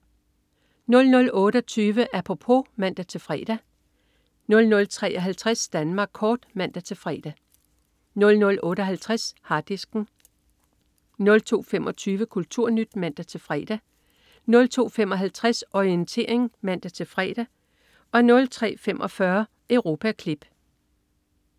00.28 Apropos* (man-fre) 00.53 Danmark kort* (man-fre) 00.58 Harddisken* 02.25 KulturNyt* (man-fre) 02.55 Orientering* (man-fre) 03.45 Europaklip*